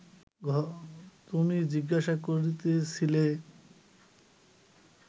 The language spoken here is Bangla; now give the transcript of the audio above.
তুমি জিজ্ঞাসা করিতেছিলে